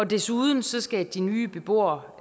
desuden skal de nye beboere